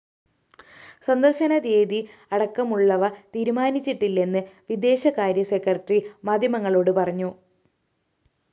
സന്ദര്‍ശന date അടക്കമുള്ളവ തീരുമാനിച്ചിട്ടില്ലെന്ന് വിദേശകാര്യ സെക്രട്ടറി മാധ്യമങ്ങളോട് പറഞ്ഞു